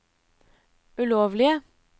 ulovlige